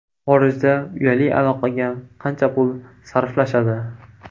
Xorijda uyali aloqaga qancha pul sarflashadi?.